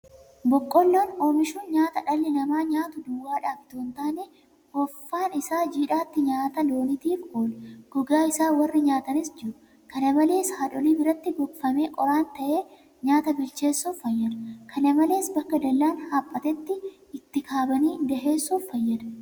Boqqoolloo oomishuun nyaata dhalli namaa nyaatu duwwaadhaaf itoo hintaane offaan isaa jiidhaatti nyaata looniitiif oola. Gogaa isa warri nyaatanis jiru. kana malees haadholii biratti gogfamee qoraan ta'ee nyaata bilcheessuuf fayyada. Kana malees bakka dallaan haphatetti itti kabanii daheessuuf fayyada.